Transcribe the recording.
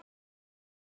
Svo kom gosið!